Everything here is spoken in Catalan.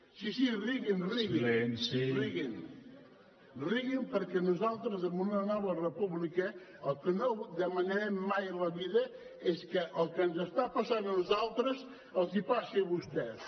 sí sí riguin riguin riguin perquè nosaltres en una nova república el que no demanarem mai a la vida és que el que ens està passant a nosaltres els passi a vostès